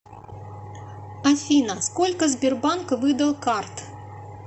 афина сколько сбербанк выдал карт